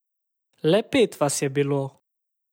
Le pet vas je bilo.